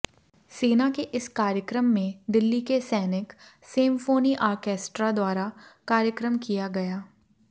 सेना के इस कार्यक्रम में दिल्ली के सैनिक सेमफोनी आर्केस्ट्रा द्वारा कार्यक्रम किया गया